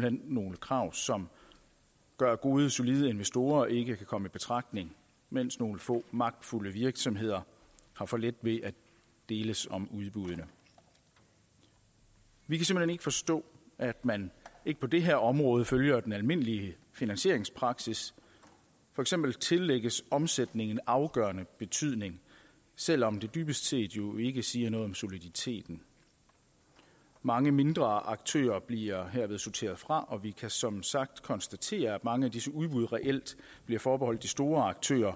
hen nogle krav som gør at gode og solide investorer ikke kan komme i betragtning mens nogle få magtfulde virksomheder har for let ved at deles om udbuddene vi kan ikke forstå at man ikke på det her område følger den almindelige finansieringspraksis for eksempel tillægges omsætningen afgørende betydning selv om det dybest set jo ikke siger noget om soliditeten mange mindre aktører bliver herved sorteret fra og vi kan som sagt konstatere at mange af disse udbud reelt bliver forbeholdt de store aktører